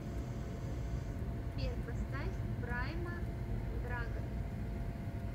сбер поставь прайма драгост